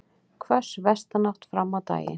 Hvöss vestanátt fram á daginn